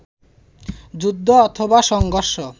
যুদ্ধ অথবা সংঘর্ষ